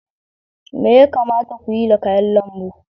Me ya kamata ku yi da kayan lambu?